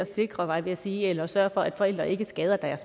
at sikre var jeg ved at sige eller sørge for at forældre ikke skader deres